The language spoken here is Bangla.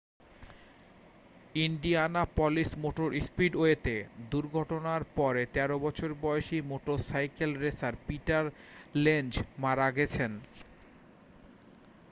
ইন্ডিয়ানাপলিস মোটর স্পিডওয়েতে দুর্ঘটনার পরে 13 বছর বয়সী মোটরসাইকেল রেসার পিটার লেনজ মারা গেছেন